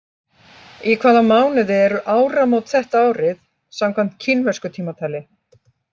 Í hvaða mánuði eru áramót þetta árið, samkvæmt kínversku tímatali?